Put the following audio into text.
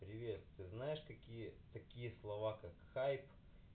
привет ты знаешь такие такие слова как хайп